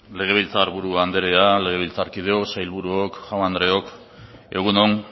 legebiltzar buru anderea legebiltzarkideok sailburuok jaun andreok egun on